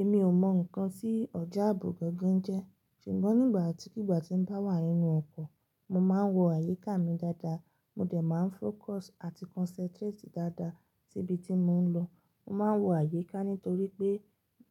Èmi ò mọ̀ nǹkan tí ọjà ààbò gangan jẹ́ ṣùgbọ́n nígbà tí kìgbà tí ń bá wà nínú ọkọ̀, mo máa ń wo àyíká mi dáadáa. Mo dẹ̀ máa ń fókọsì àti kọnsẹ́ntréètì dáadáa síbi tí mo ń lọ. Mo máa ń wo àyíká nítorí pé